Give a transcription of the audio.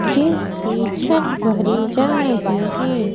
जिसकी छत भरी जा रही है।